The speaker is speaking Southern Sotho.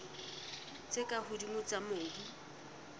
tse ka hodimo tsa mobu